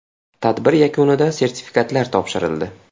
Tadbir yakunida sertifikatlar topshirildi.